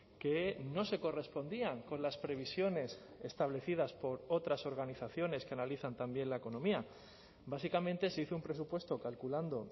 que no se correspondían con las previsiones establecidas por otras organizaciones que analizan también la economía básicamente se hizo un presupuesto calculando